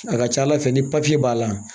A ka ca ala fɛ ni b'a la